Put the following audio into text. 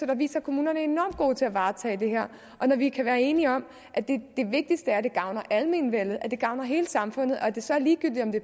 der viser at kommunerne er enormt gode til at varetage det her og når vi kan være enige om at det vigtigste er at det gavner almenvellet at det gavner hele samfundet og at det så er ligegyldigt om det